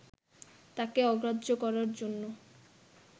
তাঁকে অগ্রাহ্য করার জন্য